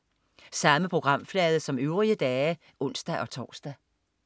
Samme programflade som øvrige dage (ons-tors)